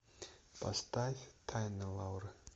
поставь тайна лауры